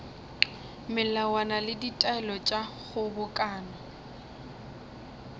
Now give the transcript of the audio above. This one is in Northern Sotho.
melawana le ditaelo tša kgobokano